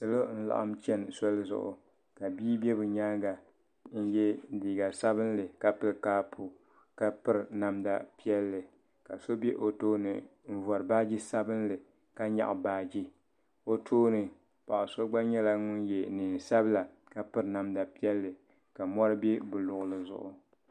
salo n-laɣim chani soli zuɣu ka bia be bɛ nyaaga n-ye liiga sabinli ka pili kaapu ka piri namda piɛlli ka so be o tooni n-vari baaji sabinli ka nyaɣi baaji o tooni paɣ' so gba nyɛla ŋun ye neen' sabila ka piri namda piɛlli ka mɔri be bɛ luɣili zuɣu.